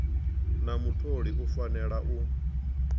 na mutholi u fanela u